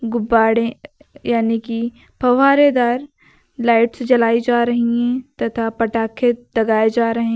गुब्बारे यानी कि फ्वारेदार लाइट्स जलाई जा रही हैं तथा पटाखे दगाए जा रहे हैं।